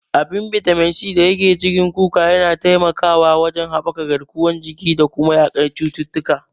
Abin bitamin C da yake cikin kuka yana taimakawa wajen haɓaka garkuwar jiki da kuma yaƙar cututtuka.